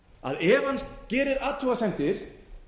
að ef hann gerir athugasemdir